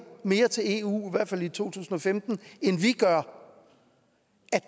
mere til eu i hvert fald i to tusind og femten end vi gjorde